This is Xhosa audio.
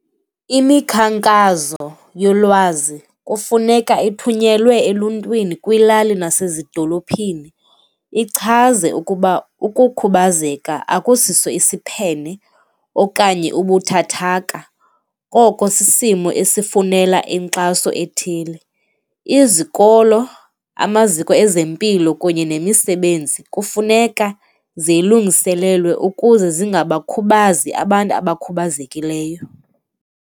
Imikhankazo yolwazi kufuneka ithunyelwe eluntwini kwiilali nasezidolophini, ichaze ukuba ukukhubazeka akusiso isiphene okanye ubuthathaka, koko sisimo esifunela inkxaso ethile. Izikolo, amaziko ezempilo kunye nemisebenzi kufuneka zilungiselelwe ukuze zingabakhubazi abantu abakhubazekileyo.